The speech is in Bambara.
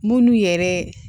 Munnu yɛrɛ